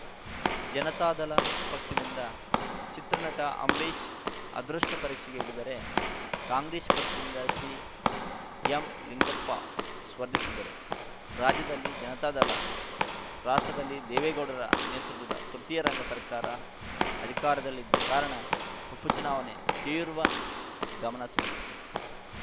ಜನತಾದಳ ಪಕ್ಷದಿಂದ ಚಿತ್ರನಟ ಅಂಬರೀಷ್‌ ಅದೃಷ್ಟಪರೀಕ್ಷೆಗೆ ಇಳಿದರೆ ಕಾಂಗ್ರೆಸ್‌ ಪಕ್ಷದಿಂದ ಸಿಎಂಲಿಂಗಪ್ಪ ಸ್ಪರ್ಧಿಸಿದ್ದರು ರಾಜ್ಯದಲ್ಲಿ ಜನತಾದಳ ರಾಷ್ಟ್ರದಲ್ಲಿ ದೇವೇಗೌಡರ ನೇತೃತ್ವದ ತೃತೀಯ ರಂಗ ಸರ್ಕಾರ ಅಧಿಕಾರದಲ್ಲಿದ್ದ ಕಾರಣ ಉಪಚುನಾವಣೆ ತೀವ್ರ ಗಮನ ಸೆಳೆದಿತ್ತು